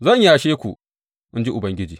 Zan yashe ku, in ji Ubangiji.’